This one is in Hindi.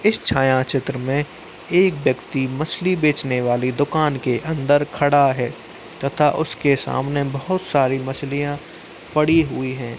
इस छायाचित्र में एक व्यक्ति मछली बेचने वाली दुकान के अंदर खड़ा है तथा उसके सामने बहुत सारी मछलिया पड़ी हुई हैं।